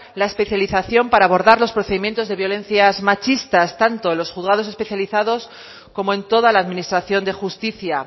la especialización para abordar los procedimientos de violencias machistas tanto en los juzgados especializados como en toda la administración de justicia